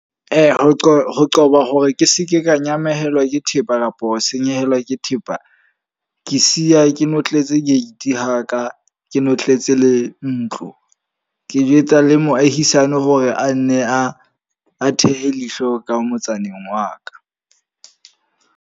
Ho qoba ho qoba hore ke seke ka nyamellwa ke thepa kapa ho senyehelwa ke thepa. Ke siya ke notletse gate haka ke notletse le ntlo. Ke jwetsa le moahisane hore a nne a a thehe leihlo ka motsaneng wa ka.